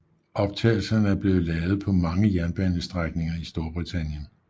Optagelserne er blevet lavet på mange jernbanestrækninger i Storbritannien